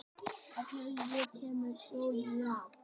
Af hverju kemur stjörnuhrap?